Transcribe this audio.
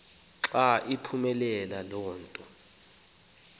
xa iphumayo le